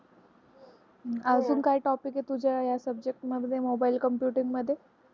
अजून काही topic आहे तुझ्या subject मध्ये mobile computing मध्ये.